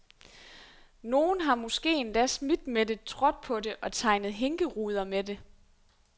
Nogen har måske endda smidt med det, trådt på det og tegnet hinkeruder med det.